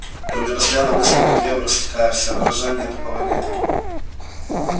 ты у меня постоянно мыслью по древу растекаешься а выражения такого нет